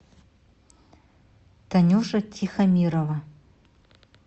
танюша тихомирова